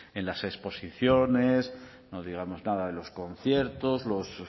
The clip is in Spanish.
en las exposiciones no digamos nada de los conciertos los